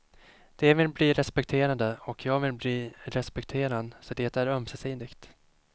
De vill bli respekterade och jag vill bli respekterad, så det är ömsesidigt.